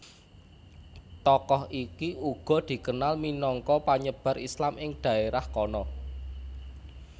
Tokoh iki uga dikenal minangka panyebar Islam ing dhaerah kana